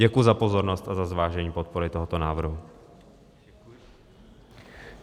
Děkuji za pozornost a za zvážení podpory tohoto návrhu.